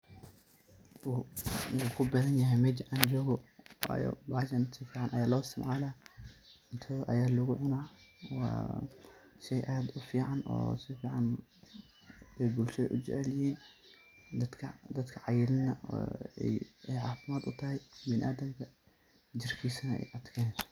Wuxu ku badan yahay mejaa an jogaa wayo bahashan si fican aya lo isticmala cuntada ayaa lagu cuna shey aad u fican oo si fican ay bulshada u jecel yihin , dadka cayilana ay cafimaad u tahay bdiniadamka jirkisana ay adkeneso.